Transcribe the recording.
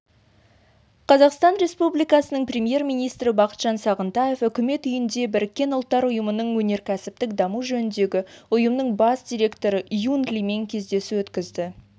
қазақстан республикасының премьер-министрі бақытжан сағынтаев үкімет үйінде біріккен ұлттар ұйымының өнеркәсіптік даму жөніндегі ұйымының бас директоры юн лимен кездесу өткізді